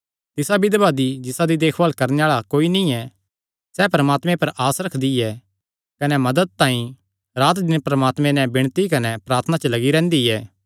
तिसा बिधवा दी जिसादी देखभाल करणे आल़ा कोई नीं ऐ सैह़ परमात्मे पर आस रखदी ऐ कने मदत तांई रात दिन परमात्मे नैं विणती कने प्रार्थना च लग्गी रैंह्दी ऐ